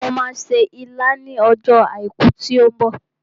Mo máa se ilá ní ọjọ́ àìkú tí ó ń bọ̀